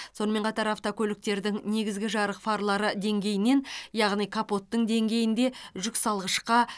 сонымен қатар автокөліктердің негізгі жарық фарлары деңгейінен яғни капоттың деңгейінде жүксалғышқа